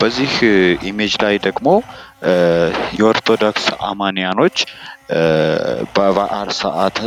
በዚህ ኢሜጅ ላይ ደግሞ ኦርቶዶክስ አማንያኖች በበአል ሰአት